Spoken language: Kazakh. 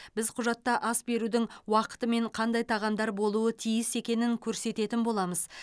біз құжатта ас берудің уақыты мен қандай тағамдар болуы тиіс екенін көрсететін боламыз